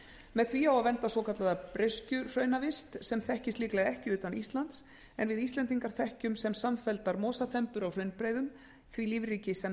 með því á að vernda svokallaða breiskjuhraunavist sem þekkist líklega ekki utan íslands en við íslendingar þekkjum sem samfelldar mosaþembur á hraunbreiðum því lífríki sem